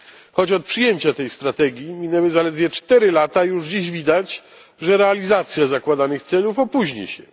Choć od przyjęcia tej strategii minęły zaledwie cztery lata, już dziś widać, że realizacja zakładanych celów opóźni się.